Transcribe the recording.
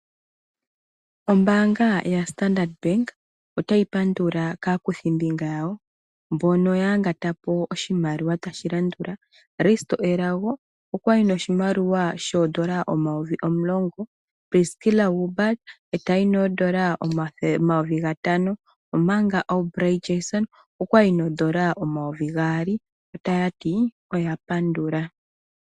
Ombaanga yaStandard Bank otayi pandula kaakuthimbinga yawo mbono yayangata po oshimaliwa tashi landula Risto Elago okwayi noshimaliwa N$ 10 000, Priskila Wilbard etayi noN$ 5000 omanga Aubrey Jansen okwayi noN$ 2000 otaya ti oya pandula.